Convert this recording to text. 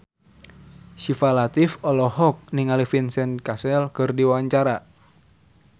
Syifa Latief olohok ningali Vincent Cassel keur diwawancara